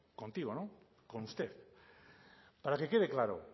contigo con usted para que quede claro